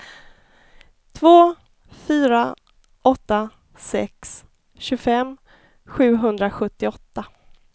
två fyra åtta sex tjugofem sjuhundrasjuttioåtta